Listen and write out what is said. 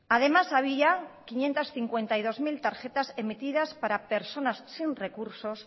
además había quinientos cincuenta y dos mil tarjetas emitidas para personas sin recursos